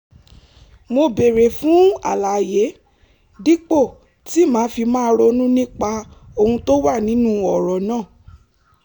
mo béèrè fún àlàyé dípò tí màá fi máa ronú nípa ohun tó wà nínú ọ̀rọ̀ náà